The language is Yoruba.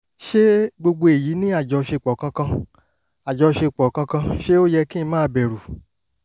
ṣé gbogbo èyí ní àjọṣepọ̀ kankan? àjọṣepọ̀ kankan? ṣé ó yẹ kí n máa bẹ̀rù?